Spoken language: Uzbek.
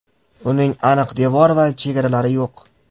Uning aniq devor va chegaralar yo‘q.